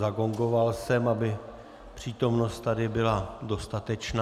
Zagongoval jsem, aby přítomnost tady byla dostatečná.